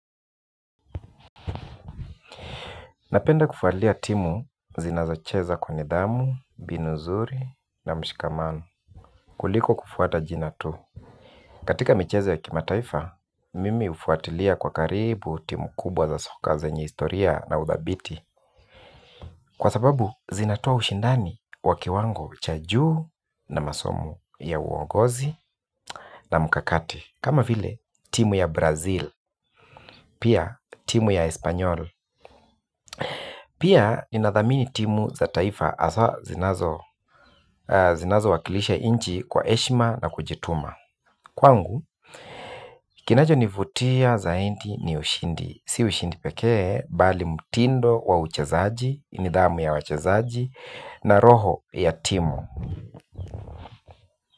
Napenda kufuatilia timu zinazo cheza kwa nidhamu, mbinu zuri na mshikamano, kuliko kufuata jina tu. Katika michezo ya kimataifa, mimi hufuatilia kwa karibu timu kubwa za soka zenye historia na udhabiti. Kwa sababu zinatoa ushindani wa kiwango cha juu na masomo ya uongozi na mkakati kama vile timu ya Brazil, pia timu ya Espanyol. Pia ninadhamini timu za taifa haswa zinazo wakilisha nchi kwa heshima na kujituma. Kwangu, kinacho nivutia zaidi ni ushindi, si ushindi pekee, mbali mutindo wa uchezaji, nidhamu ya wachezaji, na roho ya timu.